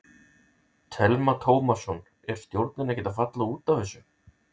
Telma Tómasson: Er stjórnin ekkert að falla út af þessu?